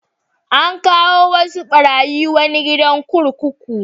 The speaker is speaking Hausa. An kawo wasu ɓarayi wani gidan kurkuku.